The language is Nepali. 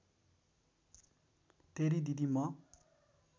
तेरी दिदी म